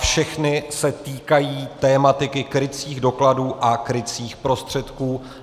Všechny se týkají tematiky krycích dokladů a krycích prostředků.